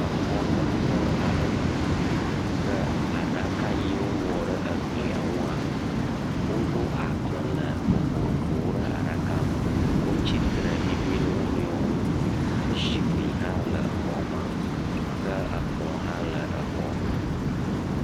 Exɔ nyakpɔ aɖe me ke aɖaka si wowɔ ɖe glia ŋua, wo ɖo agbalẽ vovovowo ɖe aɖaka me wotsitre mimi ɖe wo nɔewo ŋu woɖo zikpui ɖe exɔ me ke kplɔwo hã le exɔ me.